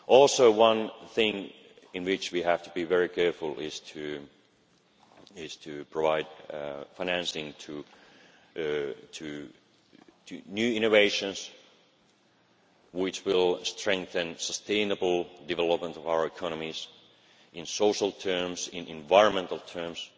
Also one thing on which we have to be very careful is to provide financing for new innovations which will strengthen the sustainable development of our economies in social terms, in environmental